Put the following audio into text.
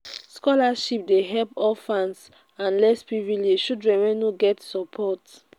scholarship dey help orphans and less privileged children wey no get support.